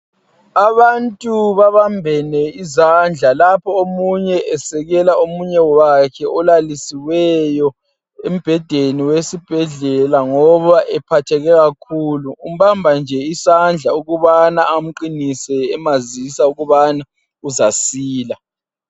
Abantu babambene izandla lapho omunye esekela omunye wakhe olalisiweyo embhedeni wesibhedlela ngoba ephatheke kakhulu umbamba nje isandla ukubana amqinise emazisa ukubana uzasila.